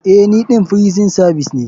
Eh ni ɗan firison savis ne.